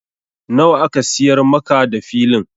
Nawa aka siyar maka da Filin?